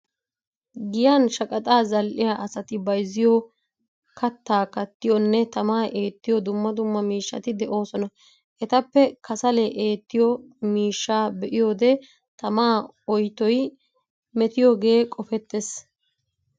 Giyan shaqaxaa zal"iya asati bayzziyo kattaa kattiyonne tamaa eettiyo dumma dumma miishshati de'oosona. Etappe kasale eettiyo miishshaa be'iyode tamaa oytoy metiyoogee qofettees.